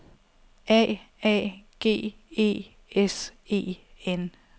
A A G E S E N